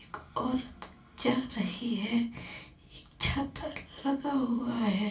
एक औरत जा रही है। एक छत लगा हुआ है।